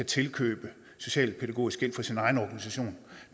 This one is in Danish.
tilkøbe socialpædagogisk hjælp fra sin egen organisation